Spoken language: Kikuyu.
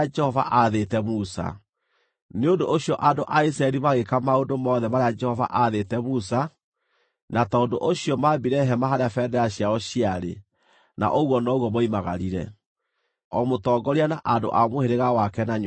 Nĩ ũndũ ũcio andũ a Isiraeli magĩĩka maũndũ mothe marĩa Jehova aathĩte Musa, na tondũ ũcio maambire hema harĩa bendera ciao ciarĩ, na ũguo noguo moimagarire, o mũtongoria na andũ a mũhĩrĩga wake na nyũmba yake.